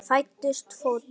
Fæddist fótur.